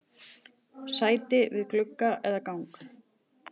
Sæti við glugga eða gang?